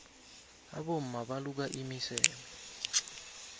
abomma baluka imiseme